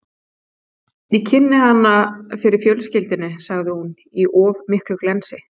Ég kynnti hann fyrir fjölskyldunni, sagði hún, í of miklu glensi.